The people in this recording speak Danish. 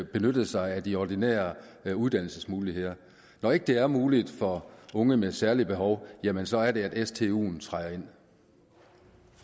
benytte sig af de ordinære uddannelsesmuligheder når ikke det er muligt for unge med særlige behov jamen så er det at stuen